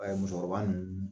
musokɔrɔba ninnu.